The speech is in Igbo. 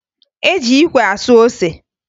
E ji ikwe asụ ose